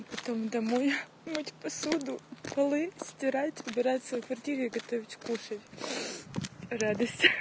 потом домой мыть посуду полы стирать убирать в своей квартире и готовить кушать радость